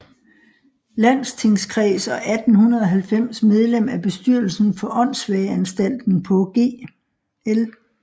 Landstingskreds og 1890 medlem af bestyrelsen for Åndssvageanstalten på Gl